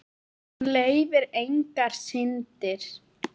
Hún leyfir engar syndir.